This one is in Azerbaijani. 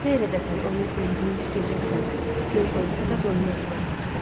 Seyr edəsən onu gündüz, gecəsən, göz doysa da doymaz ürək Bakıdan.